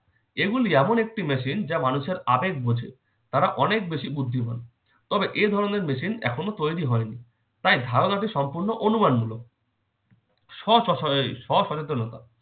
এগুলি এমন একটি machine যা মানুষের আবেগ বোঝে। তারা অনেক বেশি বুদ্ধিমান। তবে এ ধরনের machine এখনো তৈরি হয়নি। তাই ধারণাটি সম্পন্ন অনুমানমূলক। স স~ এ স সচেতনতা